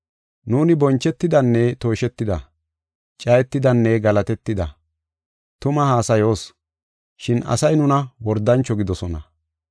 Nuuni bonchetidanne tooshetida; cayetidanne galatetida. Tumaa haasayoos, shin asay nuna wordancho gidoosona.